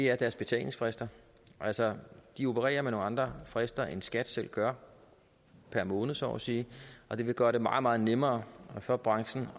er deres betalingsfrister altså de opererer med nogle andre frister end skat selv gør per måned så at sige og det ville gøre det meget meget nemmere for branchen